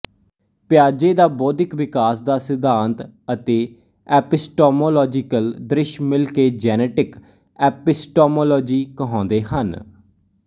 ਪਿਆਜੇ ਦਾ ਬੋਧਿਕ ਵਿਕਾਸ ਦਾ ਸਿਧਾਂਤ ਅਤੇ ਐਪਿਸਟੋਮੌਲੋਜੀਕਲ ਦ੍ਰਿਸ਼ ਮਿਲ ਕੇ ਜੈਨੇਟਿਕ ਐਪਿਸਟੋਮੌਲੋਜੀ ਕਹਾਉਂਦੇ ਹਨ